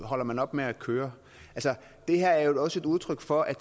holder man op med at køre det her er også et udtryk for at